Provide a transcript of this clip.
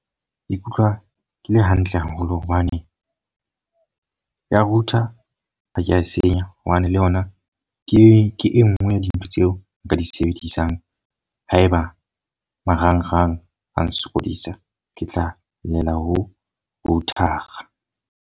Ke ikutlwa ke le hantle haholo hobane ya router ha ke a e senya. Hobane le yona ke e nngwe ya dintho tseo nka di sebedisang. Haeba marangrang a nsokodisa. Ke tla llela ho router-a.